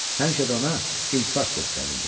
Həmişə də ona iltifat göstərirdi.